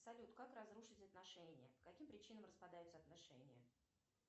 салют как разрушить отношения по каким причинам распадаются отношения